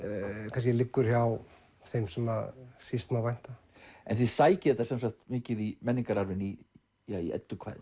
kannski liggur hjá þeim sem síst má vænta en þið sækið þetta mikið í menningararfinn í